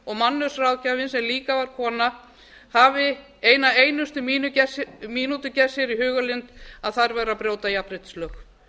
og mannauðsráðgjafinn sem líka er kona hafi eina einustu mínútu gert sér í hugarlund að þær væru að brjóta jafnréttislög